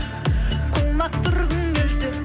құлақ түргің келсе